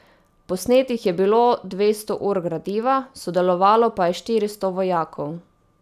Posnetih je bilo dvesto ur gradiva, sodelovalo pa je štiristo vojakov.